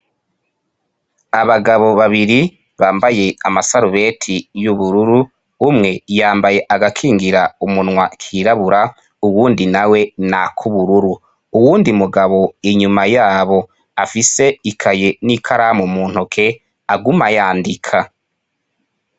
Abagabo babiri bambaye amasarubeti y'ubururu umwe yambaye agakingira umunwa kirabura, uwundi nawe nakubururu uwundi mugabo inyuma yabo afise ikaye n'ikaramu muntoke aguma ayandika.